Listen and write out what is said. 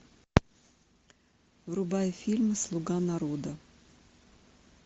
врубай фильм слуга народа